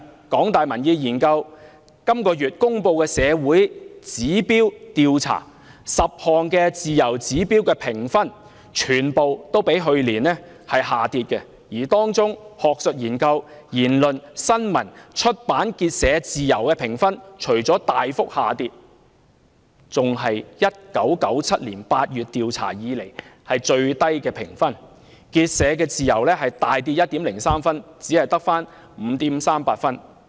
港大民研本月公布"社會指標"調查結果 ，10 項自由次指標的評分對比去年全部下跌，而當中"學術研究自由"、"言論自由"、"新聞自由"、"出版自由"和"結社自由"的評分不僅大幅下跌，還是自1997年8月調查開始以來評分最低的一次，"結社自由"更暴跌 1.03 分至只有 5.38 分。